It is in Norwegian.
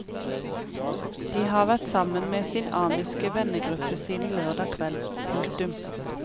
De har vært sammen med sin amiske vennegruppe siden lørdag kveld. punktum